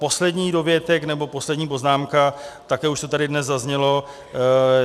Poslední dovětek nebo poslední poznámka, také už to tady dnes zaznělo.